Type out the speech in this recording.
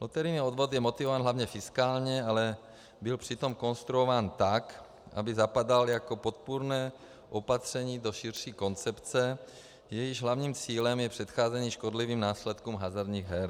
Loterijní odvod je motivován hlavně fiskálně, ale byl přitom konstruován tak, aby zapadal jako podpůrné opatření do širší koncepce, jejímž hlavním cílem je předcházení škodlivým následkům hazardních her.